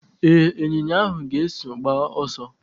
Ee, ịnyinya ahụ ga-eso gbaa ọsọ.